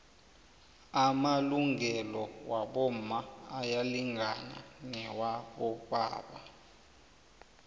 amalungelo wabomma ayalingana nawabobaba